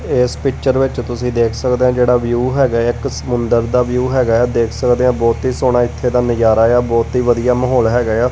ਏਸ ਪਿੱਚਰ ਵਿੱਚ ਤੁਸੀ ਦੇਖ ਸਕਦੇ ਆ ਜਿਹੜਾ ਵਿਊ ਹੈਗਾ ਐ ਇੱਕ ਸਮੁੰਦਰ ਦਾ ਵਿਊ ਹੈਗਾ ਐ ਦੇਖ ਸਕਦੇ ਆਂ ਬਹੁਤ ਹੀ ਸੋਹਣਾ ਇੱਥੇ ਦਾ ਨਜਾਰਾ ਏ ਆ ਬਹੁਤ ਹੀ ਵਧੀਆ ਮਾਹੌਲ ਹੈਗਾ ਏ ਆ।